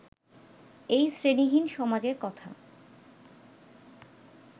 এই শ্রেণীহীন সমাজের কথা